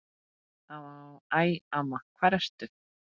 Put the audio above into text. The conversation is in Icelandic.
Æ, amma hvar ertu?